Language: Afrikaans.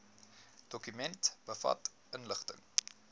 dokument bevat inligting